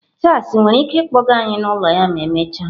Charles nwere ike ịkpọga anyị n'ụlọ ya ma emechaa?